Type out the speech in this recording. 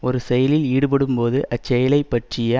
ஒரு செயலில் ஈடுபடும்போது அச்செயலை பற்றிய